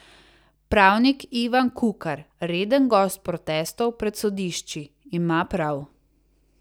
Pravnik Ivan Kukar, reden gost protestov pred sodišči, ima prav.